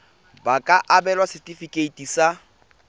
ba ka abelwa setefikeiti sa